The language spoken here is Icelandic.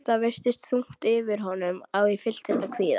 Það virtist þungt yfir honum og ég fylltist kvíða.